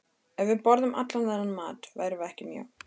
Ef við borðuðum allan þennan mat værum við ekki mjó.